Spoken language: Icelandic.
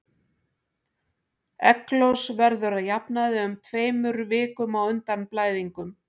Egglos verður að jafnaði um tveimur vikum á undan blæðingum.